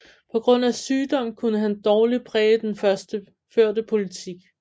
På grund af sygdom kunne han dårligt præge den førte politik